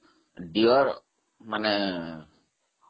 deer ମାନେ ହରିଣ